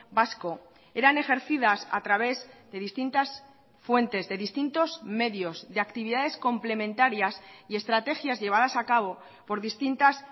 vasco eran ejercidas a través de distintas fuentes de distintos medios de actividades complementarias y estrategias llevadas a cabo por distintas